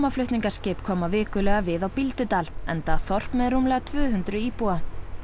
gámaflutningaskip koma vikulega við á Bíldudal enda þorp með rúmlega tvö hundruð íbúa